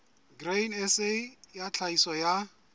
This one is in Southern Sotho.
grain sa ya tlhahiso ya